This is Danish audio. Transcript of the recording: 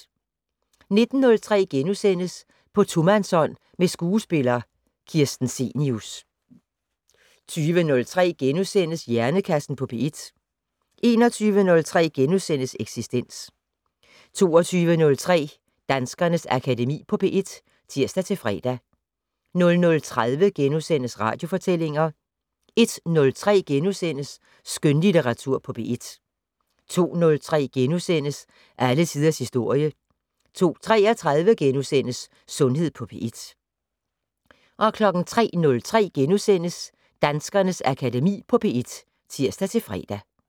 19:03: På tomandshånd med skuespiller Kirsten Cenius * 20:03: Hjernekassen på P1 * 21:03: Eksistens * 22:03: Danskernes Akademi på P1 (tir-fre) 00:30: Radiofortællinger * 01:03: Skønlitteratur på P1 * 02:03: Alle tiders historie * 02:33: Sundhed på P1 * 03:03: Danskernes Akademi på P1 *(tir-fre)